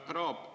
Härra Aab!